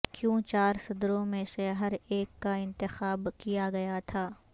کیوں چار صدروں میں سے ہر ایک کا انتخاب کیا گیا تھا